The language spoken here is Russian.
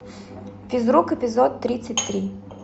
физрук эпизод тридцать три